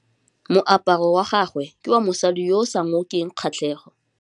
Moaparô wa gagwe ke wa mosadi yo o sa ngôkeng kgatlhegô.